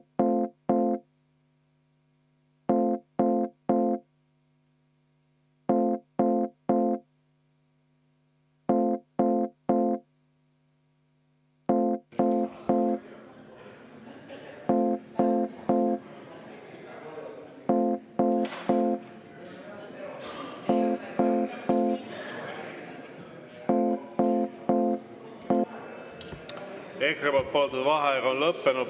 EKRE poolt palutud vaheaeg on lõppenud.